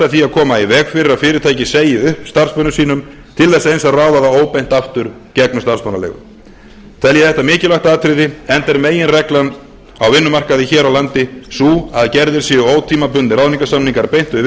því að koma í veg fyrir að fyrirtækið segi upp starfsmönnum sínum til þess eins að ráða þá óbeint aftur gegnum starfsmannaleigur tel ég þetta mikilvægt atriði enda er meginreglan á vinnumarkaði hér á landi sú að gerðir séu ótímabundnir ráðningarsamningar beint við